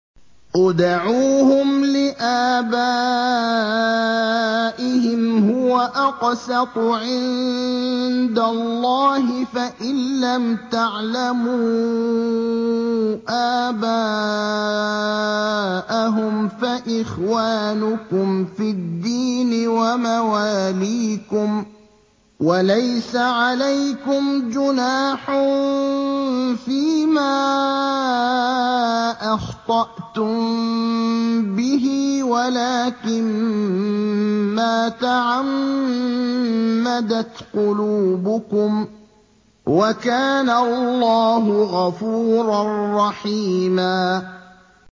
ادْعُوهُمْ لِآبَائِهِمْ هُوَ أَقْسَطُ عِندَ اللَّهِ ۚ فَإِن لَّمْ تَعْلَمُوا آبَاءَهُمْ فَإِخْوَانُكُمْ فِي الدِّينِ وَمَوَالِيكُمْ ۚ وَلَيْسَ عَلَيْكُمْ جُنَاحٌ فِيمَا أَخْطَأْتُم بِهِ وَلَٰكِن مَّا تَعَمَّدَتْ قُلُوبُكُمْ ۚ وَكَانَ اللَّهُ غَفُورًا رَّحِيمًا